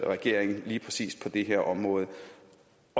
regeringen lige præcis på det her område